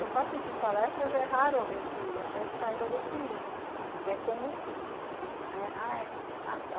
Eu faço isso em palestras, é raro alguém que até saiba definir o que é combustível.